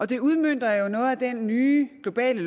det udmønter jo noget af den nye globale